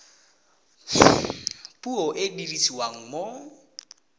puo e e dirisiwang mo